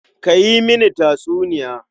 Ka yi mini tatsuniya.